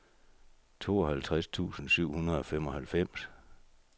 tooghalvtreds tusind syv hundrede og femoghalvfems